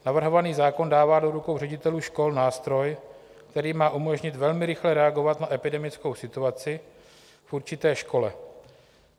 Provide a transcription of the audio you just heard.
Navrhovaný zákon dává do rukou ředitelů škol nástroj, který má umožnit velmi rychle reagovat na epidemickou situaci v určité škole.